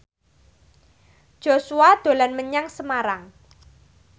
Joshua dolan menyang Semarang